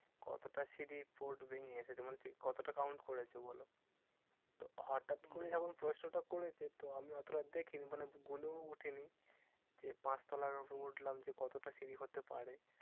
কতটা সিঁড়ির part ভেঙে এসেছো? মানে কতটা count করেছো বলো? তো হটাৎ করে যেমন প্রশ্ন টা করেছে, তো আমি অতটা দেখিনি মানে গুনেও উঠিনি। যে পাঁচতলা উপরে উঠলাম যে কতটা সিঁড়ি হতে পারে?